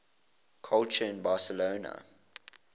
culture in barcelona